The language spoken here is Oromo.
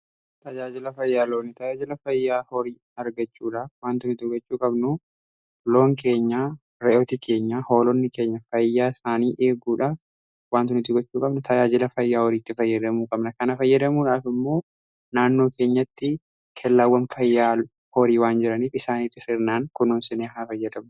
Tajaajila fayyaa loonii: tajaajila fayyaa horii argachuudhaaf waanti nuti gochuu qabnu loon keenyaa, re'ootii keenya, hoolonni keenya, fayyaa isaanii eeguudhaaf waanti nuti gochuu qabnu, tajaajila fayyaa horiitti fayyadamuu qabna. Kana fayyadamuudhaafi immoo naannoo keenyatti kellaawwan fayyaa horii waan jiraniif isaaniitti sirnaan kunuunsinee haa fayyadamnu.